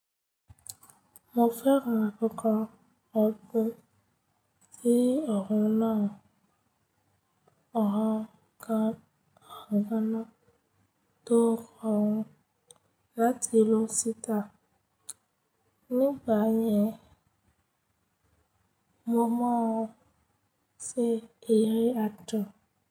Mo fẹ́rán tí pé kí ọ̀run náà ó ràn ká àgbọnà tó rọrùn láti lò síta. Nígbà yẹn, mo mọ̀ ọ́n ṣe èrè àtọ̀.